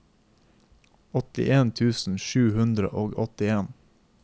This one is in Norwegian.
åttien tusen sju hundre og åttien